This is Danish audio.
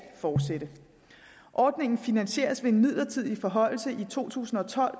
fortsætte ordningerne finansieres ved en midlertidig forhøjelse i to tusind og tolv